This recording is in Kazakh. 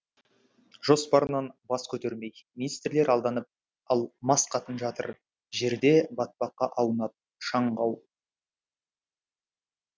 жоспарынан бас көтермей министрлер алданып ал мас қатын жатыр жерде батпаққа аунап шаң қауып